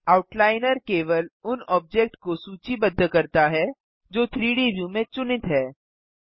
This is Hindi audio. आउटलाइनर केवल उन ऑब्जेक्ट को सूचीबद्ध करता है जो 3डी व्यू में चुनित हैं